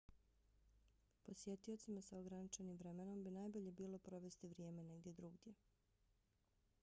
posjetiocima sa ograničenim vremenom bi najbolje bilo provesti vrijeme negdje drugdje